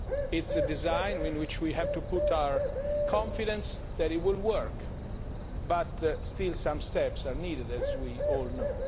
It is a design in which we have to put our confidence that it will work, but some steps are still needed, as we all know.